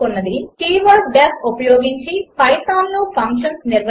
keyword D E F ఉపయోగించి పైథాన్లో functions నిర్వచించడం